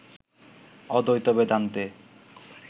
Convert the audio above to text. অদ্বৈত বেদান্তে